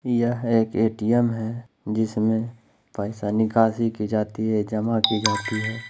यह एक ए_टी_एम है जिसमे पैसा निकासी की जाती है जमा की जाती है।